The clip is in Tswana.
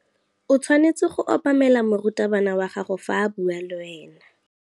O tshwanetse go obamela morutabana wa gago fa a bua le wena.